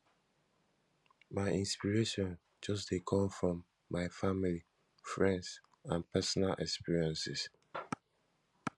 my inspiration just dey come from my family friends and personal experiences